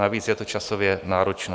Navíc je to časově náročné.